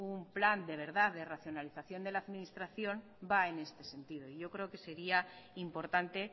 un plan de verdad de racionalización de la administración va en este sentido yo creo que sería importante